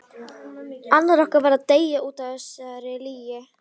Annar okkar varð að deyja útaf þessari lygi.